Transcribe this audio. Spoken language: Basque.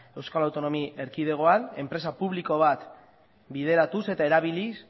euskal autonomia erkidegoan enpresa publiko bat bideratuz eta erabiliz